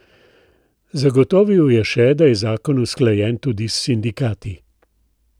Zagotovil je še, da je zakon usklajen tudi s sindikati.